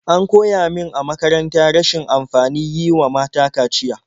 An koya min a makaranta rashin amfanin yi wa mata kaciya.